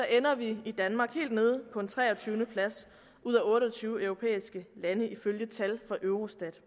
ender vi i danmark helt nede på en treogtyvende plads ud af otte og tyve europæiske lande ifølge tal fra eurostat